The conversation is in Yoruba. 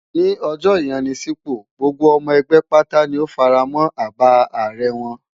Ní ọjọ́ ìyanisípò, gbogbo ọmọ ẹgbẹ́ pátá ni ó fara mọ́ àbá ààrẹ wọn.